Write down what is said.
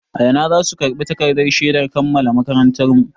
A ina za mu karɓi takardar shedar kammala makarantarmu?